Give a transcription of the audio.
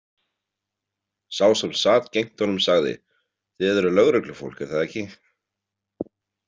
Sá sem sat gegnt honum sagði: Þið eruð lögreglufólk, er það ekki?